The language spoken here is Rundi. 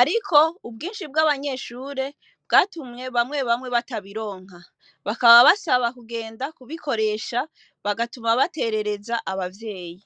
ariko ubwinshi bw'abanyeshure bwatumye bamwe bamwe batabironka bakaba basaba kugenda kubikoresha bagatuma baterereza ababyeyi.